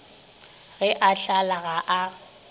ge a hlala ga a